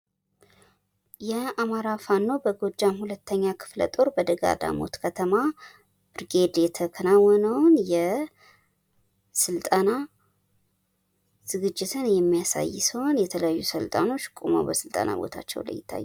የአማራ ፋኖ በጎጃም ሁለተኛ ክፍለ ጦር በደጋዳሞት ከተማ ብርጌድ የተከናወነውን የስልጠና ዝግጅትን የሚያሳይ ሲሆን የተለያዩ አሰልጣኞች ቁመው በስልጠና ቦታቸው ላይ ይታያሉ።